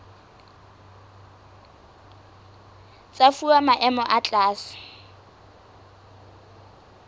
tsa fuwa maemo a tlase